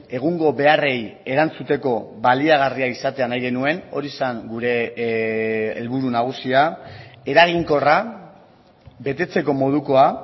egungo beharrei erantzuteko baliagarria izatea nahi genuen hori zen gure helburu nagusia eraginkorra betetzeko modukoa